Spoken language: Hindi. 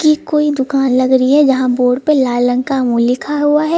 की कोई दुकान लग रही है जहां बोर्ड पे लाल रंग का अमूल लिखा हुआ है।